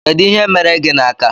Kedụ ihe mere gị n'aka?